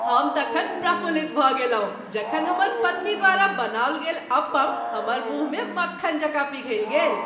हम तखन प्रफुल्लित भऽ गेलहुँ जखन हमर पत्नी द्वारा बनाओल गेल अप्पम हमर मुँहमे मक्खन जकाँ पिघलि गेल।